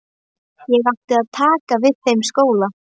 Ég átti að taka við þeim skóla.